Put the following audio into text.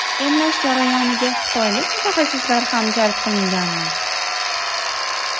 Emlash jarayoniga xitoylik mutaxassislar ham jalb qilinganmi?